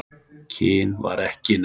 Kyn var ekki nefnt.